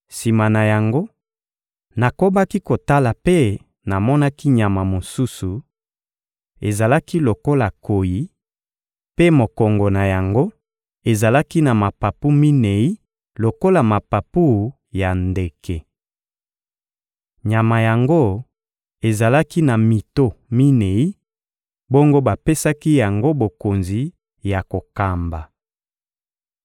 Sima na yango, nakobaki kotala mpe namonaki nyama mosusu: ezalaki lokola nkoyi, mpe mokongo na yango ezalaki na mapapu minei lokola mapapu ya ndeke. Nyama yango ezalaki na mito minei, bongo bapesaki yango bokonzi ya kokamba.